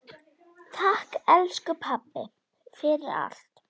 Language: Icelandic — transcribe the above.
Takk, elsku pabbi, fyrir allt.